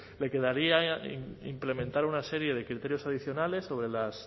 me quedaría implementar una serie de criterios adicionales sobre las